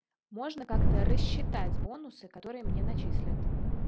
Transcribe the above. можно как-то рассчитать бонусы которые мне начислят